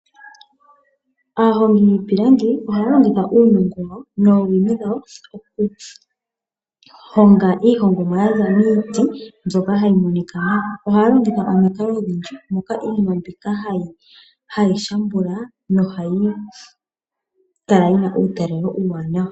Aahongi yiipilangi ohaya longitha uunongo wawo noowino dhawo oku honga iihongomwa yaza miiti mbyoka hayi monika nawa. Ohaya longitha omikalo odhindji moka iinima mbika hayi shambula nohayi kala yina uutalelo uuwanawa.